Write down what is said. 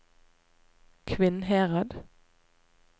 Kvinnherad